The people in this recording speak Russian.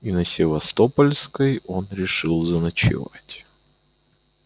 и на севастопольской он решил заночевать